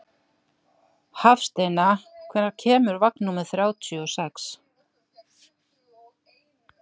Hafsteina, hvenær kemur vagn númer þrjátíu og sex?